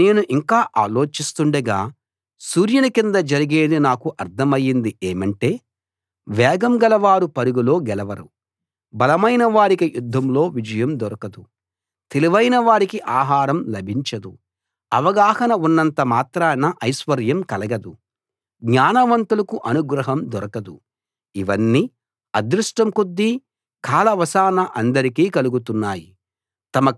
నేను ఇంకా ఆలోచిస్తుండగా సూర్యుని కింద జరిగేది నాకు అర్థమైంది ఏమంటే వేగం గలవారు పరుగులో గెలవరు బలమైన వారికి యుద్ధంలో విజయం దొరకదు తెలివైన వారికి ఆహారం లభించదు అవగాహన ఉన్నంత మాత్రాన ఐశ్వర్యం కలగదు జ్ఞానవంతులకు అనుగ్రహం దొరకదు ఇవన్నీ అదృష్టం కొద్దీ కాలవశాన అందరికీ కలుగుతున్నాయి